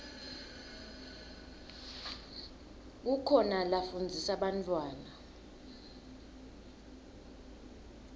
kukhona lafundzisa bantfwana